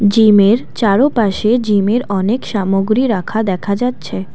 জিমের চারোপাশে জিমের অনেক সামগ্রী রাখা দেখা যাচ্ছে।